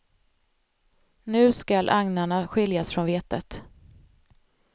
Nu skall agnarna skiljas från vetet.